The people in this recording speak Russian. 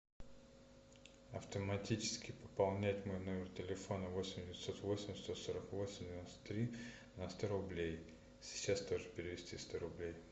автоматически пополнять мой номер телефона восемь девятьсот восемь сто сорок восемь девяносто три на сто рублей сейчас тоже перевести сто рублей